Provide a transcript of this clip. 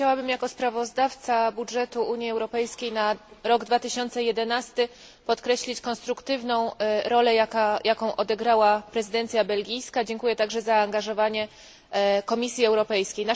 Chciałabym, jako sprawozdawca budżetu Unii Europejskiej na rok 2011, podkreślić konstruktywną rolę, jaką odegrała prezydencja belgijska. Dziękuję także za zaangażowanie Komisji Europejskiej.